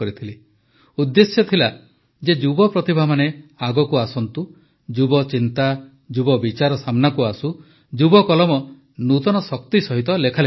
ଉଦ୍ଦେଶ୍ୟ ଥିଲା ଯେ ଯୁବପ୍ରତିଭାମାନେ ଆଗକୁ ଆସନ୍ତୁ ଯୁବଚିନ୍ତା ଯୁବବିଚାର ସାମ୍ନାକୁ ଆସୁ ଯୁବକଲମ ନୂତନ ଶକ୍ତି ସହିତ ଲେଖାଲେଖି କରନ୍ତୁ